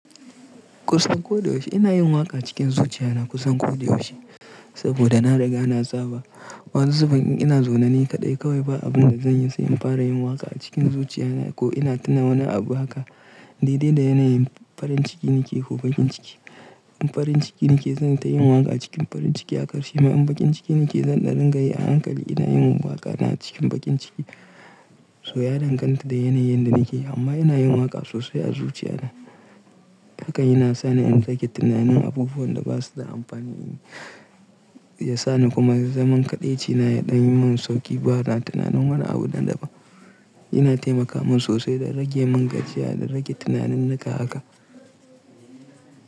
Kusan ko da yaushe ina yin waƙa cikin zuciya na kusan ko da yaushe saboda na riga na saba. Wani zubin in na zaune nani kaɗai kawai ba abun da zan yi sai in fara yin waƙa a cikin zuciya na ko ina tuna wani abu haka. Daidai da yanayin farin ciki nake ko baƙin ciki. In farin ciki nake zan ta yi waƙa cikin farin ciki a ƙarshe. Ma in baƙin ciki nake zan ɗa ringa yi a hankali ina yin waƙa na cikin baƙin ciki. So ya danganta da yanayin da nake amma ina yin waƙa sosai a zuciya na. Haka yana sa ni in rage tunanin abubuwan da ba su da amfani. Ya sa ni kuma zaman kaɗaici na ya ɗan yi min sauƙi ba na tunanin wani abu na daban. Yana taimaka min sosai da rage mun gajiya da rage tunanin naka haka.